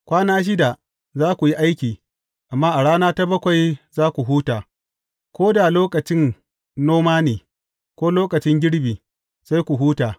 Kwana shida za ku yi aiki, amma a rana ta bakwai za ku huta; ko da lokacin noma ne, ko lokacin girbi, sai ku huta.